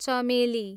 चमेली